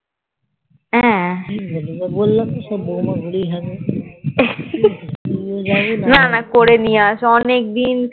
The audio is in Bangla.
সব তো সেই বললাম সব বৌমা গুলোই হ্যাংলা